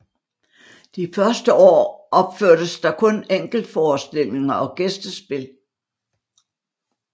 De første år opførtes der kun enkeltforestillinger og gæstespil